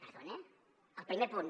perdone el primer punt